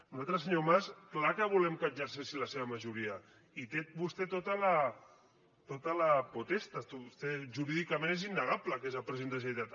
nosaltres senyor mas clar que volem que exerceixi la seva majoria i té vostè tota la potestasjurídicament és innegable que és el president de la generalitat